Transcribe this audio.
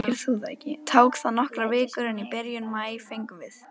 Tók það nokkrar vikur, en í byrjun maí fengum við